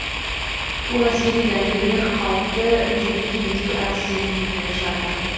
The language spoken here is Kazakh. ол әскери дәрігерлер қауіпті індетті емдеу әдістерін меңгеріп жатыр